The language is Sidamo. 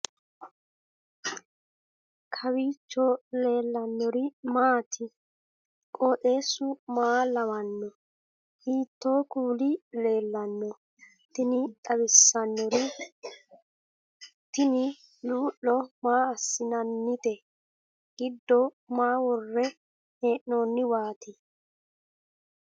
kowiicho leellannori maati ? qooxeessu maa lawaanno ? hiitoo kuuli leellanno ? tini xawissannori tini luu'lo maa assinannite giddo maaho worre hee'noonniwaati